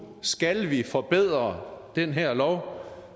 skal vi forbedre den her lov